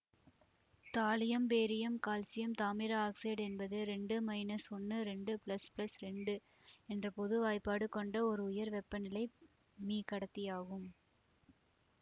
thallium barium calcium தாமிர oxide என்பது இரண்டு மைனஸ் ஒன்னு இரண்டு பிளஸ் பிளஸ் இரண்டு என்ற பொது வாய்ப்பாடு கொண்ட ஒரு உயர் வெப்பநிலை மீகடத்தியாகும்